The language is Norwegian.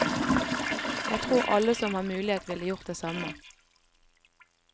Jeg tror alle som har mulighet ville gjort det samme.